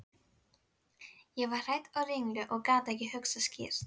Ég var hrædd og ringluð og gat ekki hugsað skýrt.